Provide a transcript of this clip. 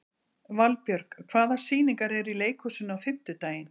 Valbjörg, hvaða sýningar eru í leikhúsinu á fimmtudaginn?